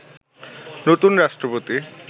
নতুন রাষ্ট্রপতি